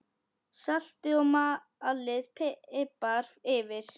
Saltið og malið pipar yfir.